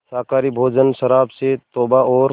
शाकाहारी भोजन शराब से तौबा और